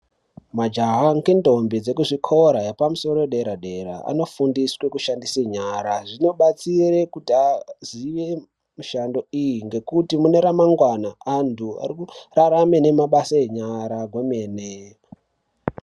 Majaha ngentombi dzekuzvikora yepamusoro dera-dera anofundiswe kushandise nyara. Zvinobastira kuti azive mishando iyi ngekuti mune ramangwana antu arikurarame nemabasa enyara kwemene.